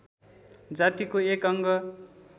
जातिको एक अङ्ग